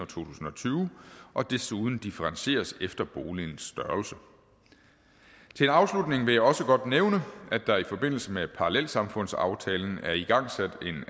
tusind og tyve og desuden differentieres efter boligens størrelse til afslutning vil jeg også godt nævne at der i forbindelse med parallelsamfundsaftalen er igangsat